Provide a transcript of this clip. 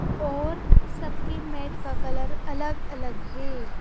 और सबकी मैट का कलर अलग-अलग है।